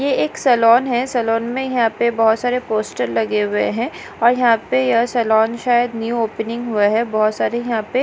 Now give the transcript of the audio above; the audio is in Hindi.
ये एक सलॉन है सलॉन में यहां पे बहुत सारे पोस्टर लगे हुए हैं और यहां पे यह सलॉन शायद न्यू ओपनिंग हुआ है बहुत सारे यहां पे --